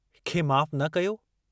खे माफ़ु न कयो?